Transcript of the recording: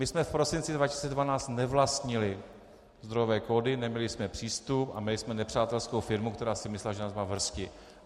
My jsme v prosinci 2012 nevlastnili zdrojové kódy, neměli jsme přístup a měli jsme nepřátelskou firmu, která si myslela, že nás má v hrsti.